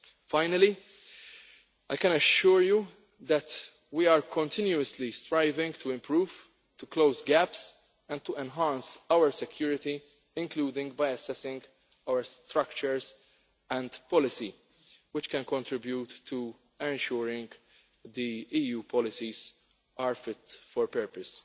Finally, I can assure you that we are continuously striving to improve, to close gaps and to enhance our security, including by assessing our structures and policy, which can contribute to ensuring the EU policies are fit for purpose.